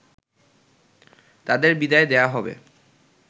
তাদের বিদায় দেয়া হবে